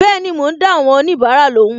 Bẹẹni, mo ń dá àwọn onibara lóhùn